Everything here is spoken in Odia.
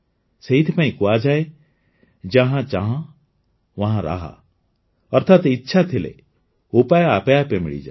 ସେଥିପାଇଁ କୁହାଯାଏ ଜହାଁ ଚାହ ୱହାଁ ରାହ ଅର୍ଥାତ ଇଚ୍ଛା ଥିଲେ ଉପାୟ ଆପେ ଆପେ ମିଳିଯାଏ